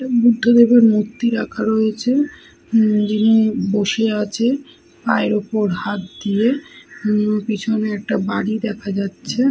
বুদ্ধদেবের মূর্তি রাখা রয়েছে। উম-ম যিনি বসে আছে। পায়ের ওপর হাত দিয়ে। উম-ম পেছনে একটা বাড়ি দেখা যাচ্ছে।